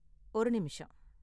ஒரு நிமிஷம்.